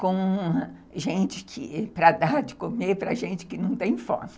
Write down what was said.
com gente para dar de comer para gente que não tem fome.